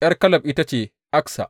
’Yar Kaleb ita ce Aksa.